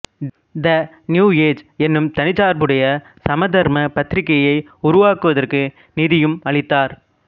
த New Age என்னும் தனிச்சார்புடைய சமதர்ம பத்திரிகையை உருவாக்குவதற்கு நிதியும் அளித்தார்